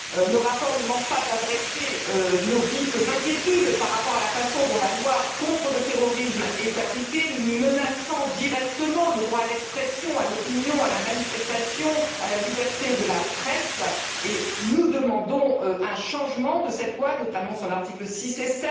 Le rapport ne manque pas de faire part de nos vives inquiétudes par rapport à la façon dont la loi contre le terrorisme est appliquée, menaçant directement le droit à l'expression, à l'opinion, à la manifestation, à la liberté de la presse et nous demandons un changement de cette loi, notamment de ses articles 6 et